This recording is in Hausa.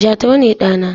Jatau ne ɗa na.